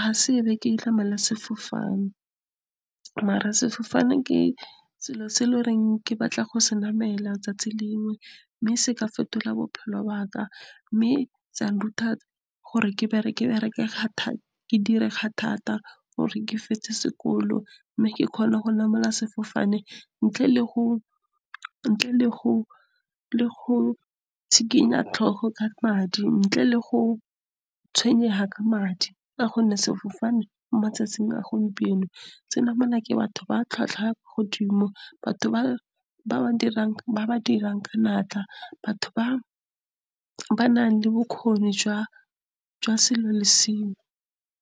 ha sebe ke sefofaneng. Mare sefofane ke selo se e le goreng. Ke batla go senamela tsatsi lengwe, mme se ka fetola bophelo baka, mme sa nthuta gore ke dire ka thata gore ke fetse sekolo, mme ke kgone go namela sefofane ntle le go tshikinya tlhogo ka madi, ntle le go tshwenyega ka madi. Ka gonne sefofane mo matsatsing a gompieno se namelwa ke batho ba tlhwatlhwa godimo, batho ba ba dirang ka natla, batho ba ba nang le bokgoni jwa sengewe le sengwe.